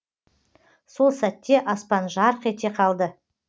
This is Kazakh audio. сол сәтте аспан жарқ ете қалды